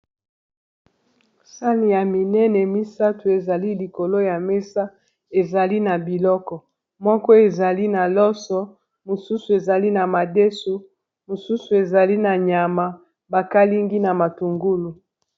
sani ya minene misato ezali likolo ya mesa ezali na biloko moko ezali na loso mosusu ezali na madeso mosusu ezali na nyama bakalingi na matungulu